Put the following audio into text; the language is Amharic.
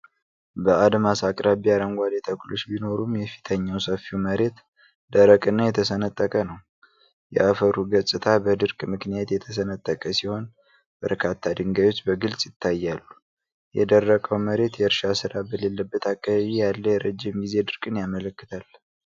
በአድማስ አቅራቢያ አረንጓዴ ተክሎች ቢኖሩም፤ የፊተኛው ሰፊው መሬት ደረቅ እና የተሰነጠቀ ነው። የአፈሩ ገጽታ በድርቅ ምክንያት የተሰነጠቀ ሲሆን፤ በርካታ ድንጋዮች በግልጽ ይታያሉ። የደረቀው መሬት የእርሻ ሥራ በሌለበት አካባቢ ያለ የረዥም ጊዜ ድርቅን ያመለክታል።